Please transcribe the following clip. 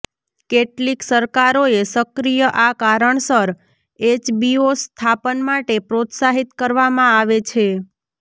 કેટલીક સરકારોએ સક્રિય આ કારણસર એચબીઓ સ્થાપન માટે પ્રોત્સાહિત કરવામાં આવે છે